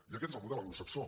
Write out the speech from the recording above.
i aquest és el model anglosaxó